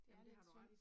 Det er lidt synd